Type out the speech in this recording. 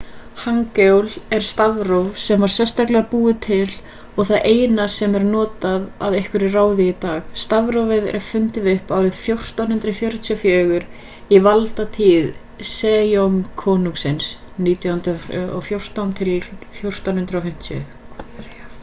hangeul er stafróf sem var sérstaklega búið til og það eina sem er notað að einhverju ráði í dag. stafrófið var fundið upp árið 1444 í valdatíð sejong konungs 1418-1450